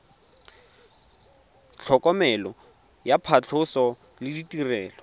tlhokomelo ya phatlhoso le ditirelo